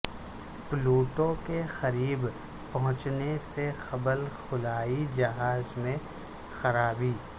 Pluto کے قریب پہنچنے سے قبل خلائی جہاز میں خرابی